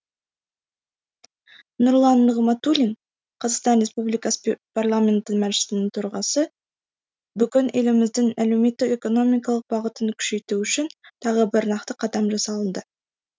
нұрлан нығматулин қазақстан республикасы парламенті мәжілісінің төрағасы бүгін еліміздің әлеуметтік экономикалық бағытын күшейту үшін тағы бір нақты қадам жасалынды